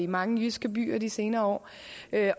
mange jyske byer i de senere år